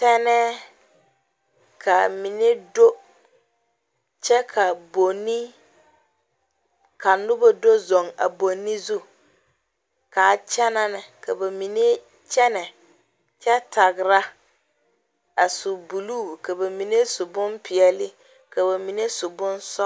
Tennɛ kaa mine do, kyɛ ka bonne ka noba do zeŋ a bonne zu, kaa kyɛne ne ka ba mine kyɛne kyɛ tagera. a su buluu ka ba mine su bonpɛɛle ka ba mine su bonsɔglɔ.